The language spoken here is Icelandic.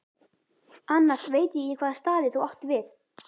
Annars veit ég ekki hvaða staði þú átt við.